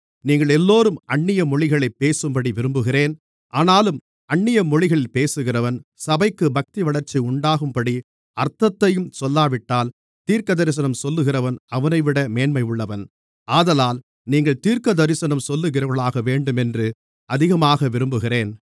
நீங்களெல்லோரும் அந்நிய மொழிகளைப் பேசும்படி விரும்புகிறேன் ஆனாலும் அந்நிய மொழிகளில் பேசுகிறவன் சபைக்குப் பக்திவளர்ச்சி உண்டாகும்படிக்கு அர்த்தத்தையும் சொல்லாவிட்டால் தீர்க்கதரிசனம் சொல்லுகிறவன் அவனைவிட மேன்மையுள்ளவன் ஆதலால் நீங்கள் தீர்க்கதரிசனம் சொல்லுகிறவர்களாகவேண்டுமென்று அதிகமாக விரும்புகிறேன்